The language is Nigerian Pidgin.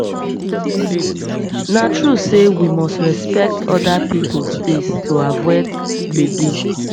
na true sey we must respect other pipo space to avoid gbege